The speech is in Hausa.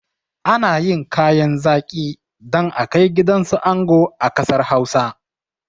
Ana yin kayan zaƙi don akai gidansu ango a ƙasar hausa